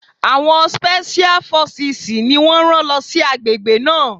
Àwọn spẹ́ṣíá fọsìsì ni wọ́n rán lọ sí àgbègbè náà.